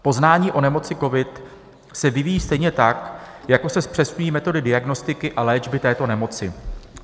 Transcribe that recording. Poznání o nemoci covid se vyvíjí stejně tak, jako se zpřesňují metody diagnostiky a léčby této nemoci.